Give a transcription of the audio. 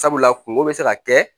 Sabula kungo bɛ se ka kɛ